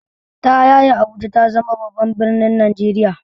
Ta yaya Abuja ta zama babban birnin Najeriya?